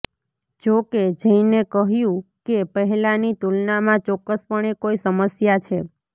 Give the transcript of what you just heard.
જો કે જૈને કહ્યું કે પહેલાની તુલનામાં ચોક્કસપણે કોઈ સમસ્યા છે